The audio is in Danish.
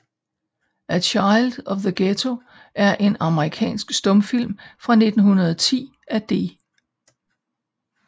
A Child of the Ghetto er en amerikansk stumfilm fra 1910 af D